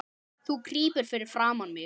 Þú krýpur fyrir framan mig.